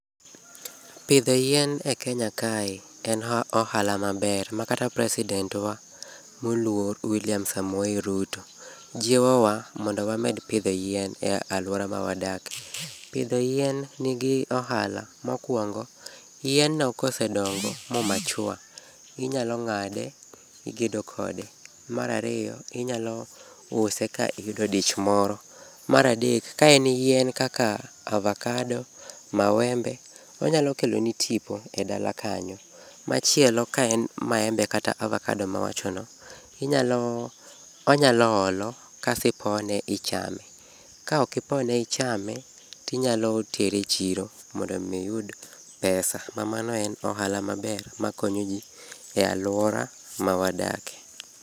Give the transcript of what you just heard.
Pidho yien e kenya kae en ohala maber makata president wa moluor Wiliam Samoei Ruto jiwowa mondo wamed pidho yien e aluora ma wadake. Pidho yien nigi ohala. Mokuongo, yienno kosedongo mo mature inyalo ng'ade igedo kode. Mar ariyo inyalo use ka iyudo dich moro. Mar adek, ka en yien kaka avakado, mawembe onyalo keloni tipo e dala kanyo. Machielo ka en maembe kata avakado ma awachono, inyalo onyalo olo kasipone ichame. Ka ok ipone ichame tinyalo tere e chiro mondo mi iyud pesa ma mano en ohala maber makonyo jii e alwora ma wadake.